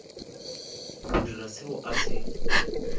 go dira seo a se